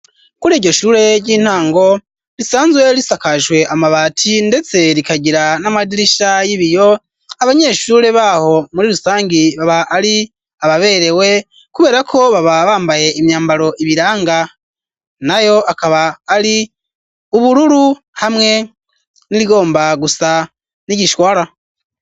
Kuri iryo shure ry'intango risanzwe risakajwe amabati ndetse rikagira n'amadirisha y'ibiyo abanyeshure baho muri rusangi baba ari ababerewe kubera ko baba bambaye imyambaro ibiranga nayo akaba ari ubururu hamwe n'irigomba gusa n'igishwara.